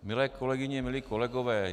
Milé kolegyně, milí kolegové.